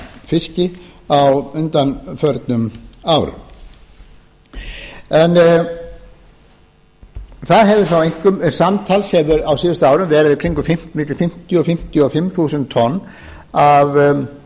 gámafiski á undanförnum árum en það hefur þó einkum samtals á síðustu árum verið í kringum milli fimmtíu til fimmtíu og fimm þúsund tonn af